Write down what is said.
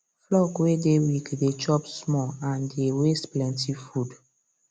flock way dey weak dey chop small and dey waste plenty food